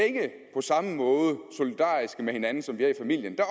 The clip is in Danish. ikke på samme måde er solidariske med hinanden som vi er i familien der